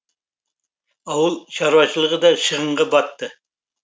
ауыл шаруашылығы да шығынға батты